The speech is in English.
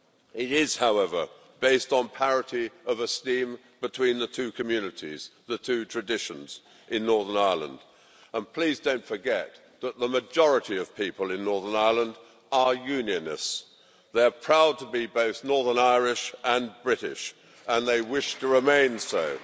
It is, however, based on parity of esteem between the two communities, the two traditions in Northern Ireland. And please don't forget that the majority of people in Northern Ireland are Unionists, they're proud to be both Northern Irish and British and they wish to remain